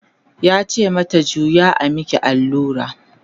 yace mata "juya a maki allura!"